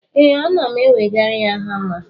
ee, ana m ewegara ya hama a